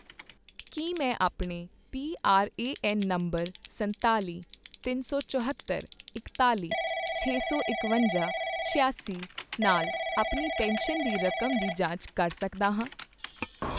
ਕੀ ਮੈਂ ਆਪਣੇ ਪੀਆਰਏਐੱਨ ਨੰਬਰ ਸੰਤਾਲ਼ੀ, ਤਿੰਨ ਸੌ ਚਹੌਤਰ, ਇਕਤਾਲ਼ੀ, ਚੇ ਸੌ ਇਕਵੰਜਾ, ਛਿਆਸੀ ਨਾਲ ਆਪਣੀ ਪੈਨਸ਼ਨ ਦੀ ਰਕਮ ਦੀ ਜਾਂਚ ਕਰ ਸਕਦਾ ਹਾਂ?